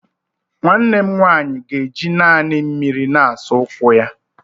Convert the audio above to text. Nwanne m nwanyị ga-eji naanị mmiri na-asa ụkwụ ya.